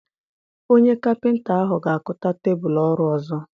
Onye Kapịnta ahụ ga-akụta tebụlụ ọrụ ọzọ.